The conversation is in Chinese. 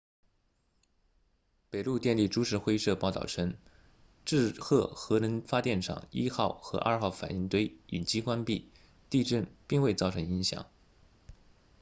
北陆电力株式会社报道称志贺核能发电厂1号和2号反应堆已经关闭地震并未造成影响